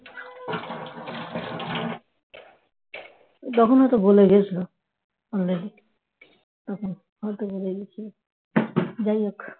তখন হয়তো গলে গেছিল already তখন হয়তো গলে গেছিল যাই হোক